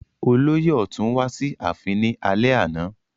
Olóyè ọ̀tún wá sí ààfin ní alẹ́ àná